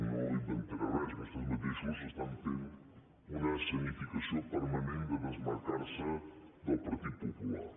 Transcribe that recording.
no inventaré res vostès mateixos fan una escenificació permanent de desmarcar se del partit popular